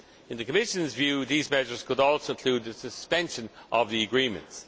In the Commission's view, these measures could also include the suspension of the agreements.